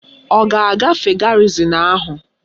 Ọ ga-agafe garịzịn ahụ?